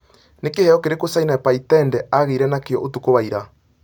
Nĩ kĩheo kĩrĩkũ Sanaipei Tande aagĩire nakĩo ũtuku wa ira